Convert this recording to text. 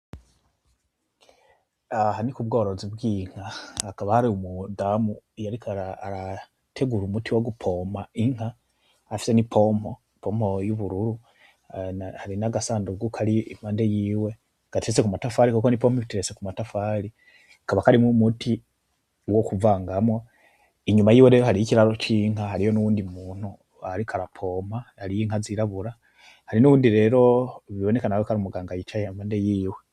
Aha ni ku bworozi bw’inka hakaba hari umudamu ariko arategura umuti wo gupompa afise n’ipompo y’ubururu hari n’agasanduku kari impande yiwe ,gateretse ku matafari kuko n’ipombo iteretse impande yiwe hari n’umuti wo kuvanga mwo inyuma yiwe rero hari n’ikiraro c’inka hariho n’uwindi muntu ariko ara pompa hariho n’inka zirabura, hariho n’uyundi rero bibioneka ko ari umuganga yicaye impande yiwe.